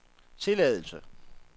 tilladelse